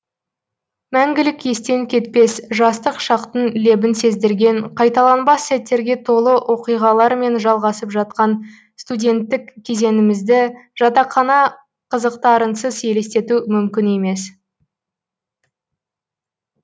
мәңгілік естен кетпес жастық шақтың лебін сездірген қайталанбас сәттерге толы оқиғалармен жалғасып жатқан студеттік кезеңімізді жатақхана қызықтарынсыз елестету мүмкін емес